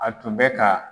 A tun bɛ ka